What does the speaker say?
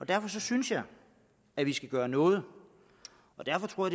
derfor synes jeg at vi skal gøre noget og derfor